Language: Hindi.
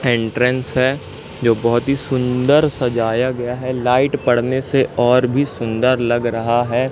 एंट्रेंस है जो बहोत ही सुंदर सजाया गया है लाइट पडने से और भी सुंदर लग रहा है।